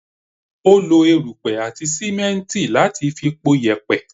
She used sand and cement to make the concrete